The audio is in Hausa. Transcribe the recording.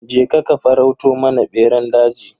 Je ka ka farauto mana beran daji.